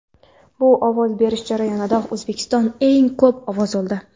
Bu ovoz berish jarayonida O‘zbekiston eng ko‘p ovoz oldi.